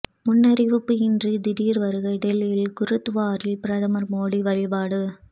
முன்னறிவிப்பு இன்றி திடீர் வருகை டெல்லி குருத்வாராவில் பிரதமர் மோடி வழிபாடு